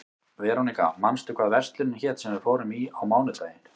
Veróníka, manstu hvað verslunin hét sem við fórum í á mánudaginn?